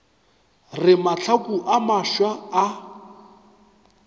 re mahlaku a mafsa a